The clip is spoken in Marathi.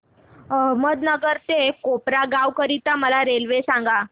अहमदनगर ते कोपरगाव करीता मला रेल्वे सांगा